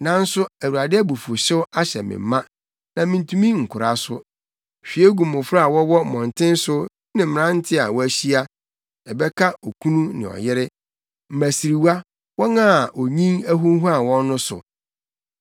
Nanso Awurade abufuwhyew ahyɛ me ma, na mintumi nkora so. “Hwie gu mmofra a wɔwɔ mmɔnten so ne mmerante a wɔahyia; ɛbɛka okunu ne ɔyere, mmasiriwa, wɔn a onyin ahunhuan wɔn no so.